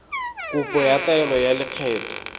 kopo ya taelo ya lekgetho